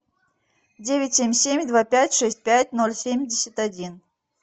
девять семь семь два пять шесть пять ноль семьдесят один